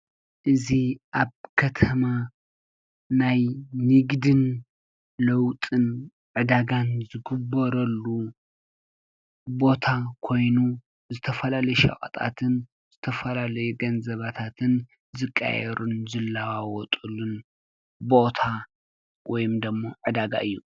እዚ ኣብ ከተማ ናይ ንግድን ለዉጢን ዕዳጋን ዝግበረሉ ቦታ ኮይኑ ዝተፈላለዩ ሸቀጣትን ዝተፈላለዩ ገንዘባታትን ዝቀያየሩሉን ዝላዋወጠሉን ቦታ ወይ ደሞ ዕዳጋ እዩ።